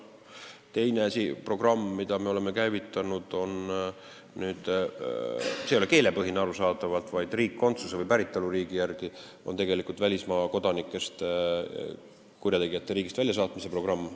Teine programm, mille me oleme käivitanud – see ei ole arusaadavatel põhjustel keelepõhine, vaid toimib riikkondsuse või päritoluriigi järgi –, on välismaa kodanikest kurjategijate riigist väljasaatmise programm.